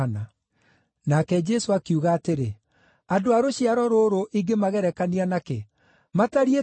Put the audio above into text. Nake Jesũ akiuga atĩrĩ, “Andũ a rũciaro rũrũ ingĩmagerekania na kĩ? Matariĩ ta kĩ?